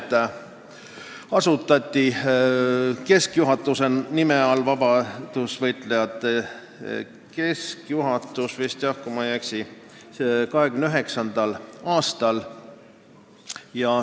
See asutati keskjuhatuse nime all – vabadussõdalaste keskjuhatus vist oli, kui ma ei eksi – 1929. aastal.